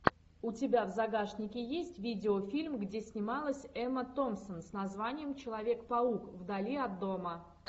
у тебя в загашнике есть видеофильм где снималась эмма томпсон с названием человек паук вдали от дома